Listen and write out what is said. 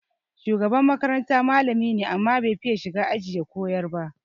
Shugaban makaranta malami ne, amma bai fiya shiga aji ya koyar ba.